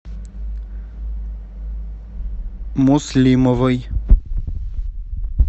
муслимовой